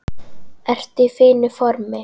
Ertu í fínu formi?